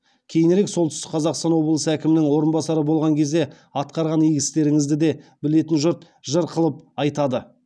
кейінірек солтүстік қазақстан облысы әкімінің орынбасары болған кезде атқарған игі істеріңізді де білетін жұрт жыр қылып айтады